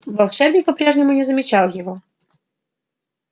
волшебник по-прежнему не замечал его